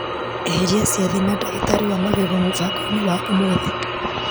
Eheria ciathĩ na ndagĩtarĩ wa magego mũbango-inĩ wa ũmũthĩ .